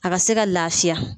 A ka se ka lafiya